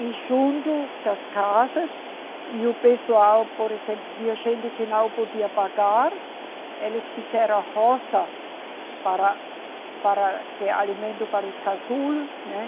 E junto das casas, e o pessoal, por exemplo, tinha gente que não podia pagar, eles fizeram roça para, para ter alimento para os casulos, né?